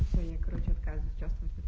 короче каждый час